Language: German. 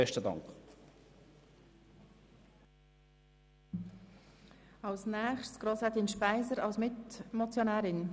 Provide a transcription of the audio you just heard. Als nächste Rednerin spricht Grossrätin Speiser als Mitmotionärin.